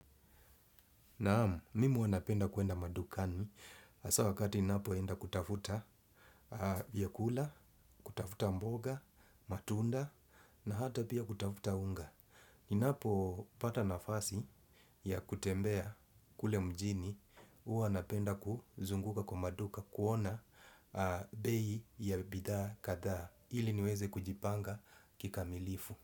Naam, mimi huwa napenda kuenda madukani asa wakati ni napo enda kutafuta vyakula, kutafuta mboga, matunda na hata pia kutafuta unga. Ni napo pata nafasi ya kutembea kule mjini huwa napenda kuzunguka kwa maduka kuona bei ya bidhaa kathaa ili niweze kujipanga kika milifu.